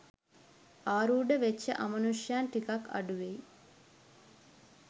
ආරූඪ වෙච්ච අමනුෂ්‍යයන් ටිකක් අඩුවෙයි